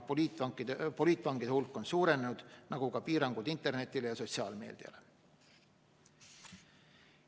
Poliitvangide hulk on suurenenud, nagu ka piirangud internetile ja sotsiaalmeediale.